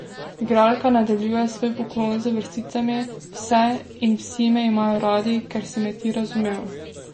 Igralka nadaljuje svoj poklon z vrsticami: "Vse in vsi me imajo radi, ker si me ti razumel.